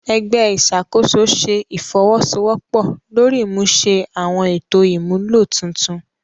Ẹgbẹ iṣakoso ṣe ifowosowopo lori imuse awọn eto imulo tuntun